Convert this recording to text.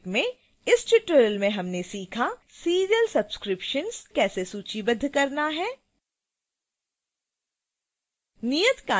संक्षेप में इस tutorial में हमने सीखा